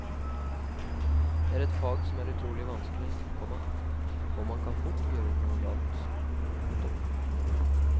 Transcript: Det er et fag som er utrolig vanskelig, komma og man kan fort gjøre noe galt. punktum